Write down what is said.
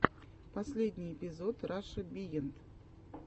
последний эпизод раша биенд